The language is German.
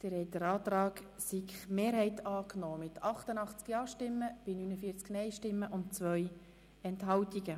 Sie haben den Antrag SiK-Mehrheit angenommen mit 88 Ja- gegen 49 Nein-Stimmen bei 2 Enthaltungen.